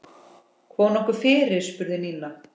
Kom nokkuð fyrir? spurði Nína.